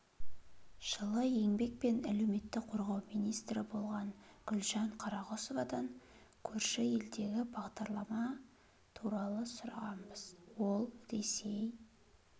жылы еңбек және әлеуметті қорғау министрі болған гүлжан қарағұсовадан көрші елдегі бағдарлама туралы сұрағанбыз ол ресей